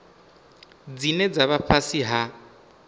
dzine dza vha fhasi ha